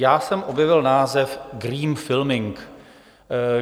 Já jsem objevil název green filming.